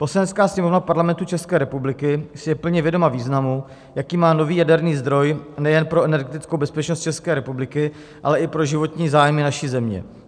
"Poslanecká sněmovna Parlamentu České republiky si je plně vědoma významu, jaký má nový jaderný zdroj nejen pro energetickou bezpečnost České republiky, ale i pro životní zájmy naší země.